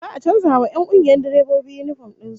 Za'a a canza wa 'yan kungiyar direbobin yinifom din su